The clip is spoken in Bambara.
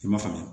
I m'a faamu